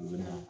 U bɛ na